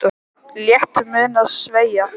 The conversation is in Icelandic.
Létt mun hann að sverja.